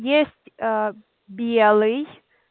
есть аа белый